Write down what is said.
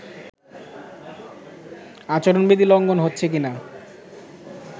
আচরণবিধি লঙ্ঘন হচ্ছে কিনা